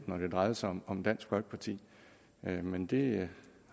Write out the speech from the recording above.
når det drejer sig om dansk folkeparti men det